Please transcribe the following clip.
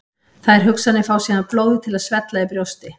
Þær hugsanir fá síðan blóðið til að svella í brjósti.